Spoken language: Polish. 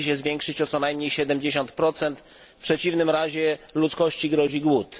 musi się zwiększyć o co najmniej 70 w przeciwnym razie ludzkości grozi głód.